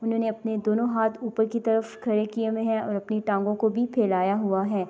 انہونے اپنے دونو ہاتھ اپر کی طرف کھڈے کے ہوئے ہے اور اپنی تانگو کو بھی پھیلایا ہوا ہے۔